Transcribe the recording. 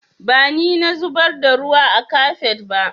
Ba ni na zubar da ruwa a kafet ba